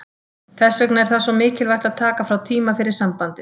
Þess vegna er það svo mikilvægt að taka frá tíma fyrir sambandið.